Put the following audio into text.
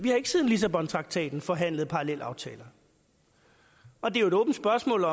lissabontraktaten har forhandlet parallelaftaler og det er et åbent spørgsmål